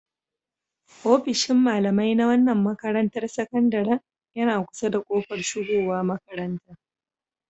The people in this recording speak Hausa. Ofishin malamai na wannan makarantar sakandaren yana kusa da kofar shigowa makaranta.